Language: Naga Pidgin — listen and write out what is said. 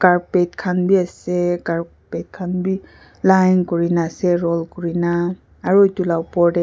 carpet khan b ase carpet khan b line kuri na ase roll kuri na aru edu la opor de.